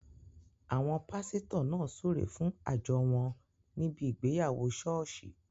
Àwọn pásítọ̀ náà súre fún àjọ wọn níbi ìgbéyàwó ṣọ́ọ̀ṣì